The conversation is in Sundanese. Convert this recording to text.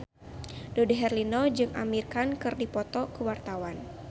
Dude Herlino jeung Amir Khan keur dipoto ku wartawan